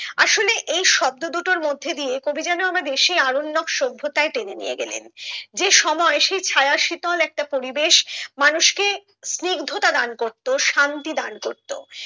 আসলে এই শব্দ দুটোর মধ্যে দিয়ে কবি যেন আমাদের সেই আরণ্যক সভ্যতায় টেনে নিয়ে গেলেন যে সময় সেই ছায়া শীতল একটা পরিবেশ মানুষকে স্নিগ্ধতা দান করতো শান্তি দান করতো